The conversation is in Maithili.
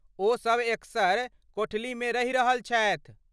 ओसभ एकसर कोठलीमे रहि रहल छथि।